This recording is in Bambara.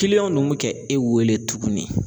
Kiliyanw ninnu bɛ kɛ e wele tuguni